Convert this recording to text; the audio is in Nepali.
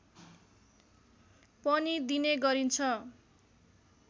पनि दिने गरिन्छ